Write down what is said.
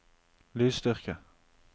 lydstyrke